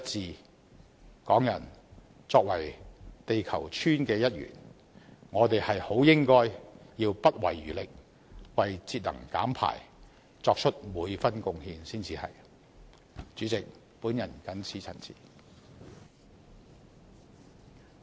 香港人作為地球村的一員，我們很應該不遺餘力，為節能減排作出每分貢獻才是。